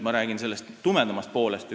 Ma räägin nüüd tumedamast poolest.